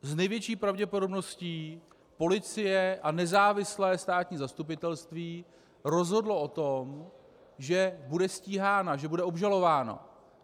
S největší pravděpodobností policie a nezávislé státní zastupitelství rozhodlo o tom, že bude stíhána, že bude obžalována.